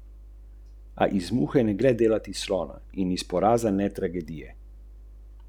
Denarja ne bo želel porabiti, če si bo zastavljeni cilj resnično želel doseči.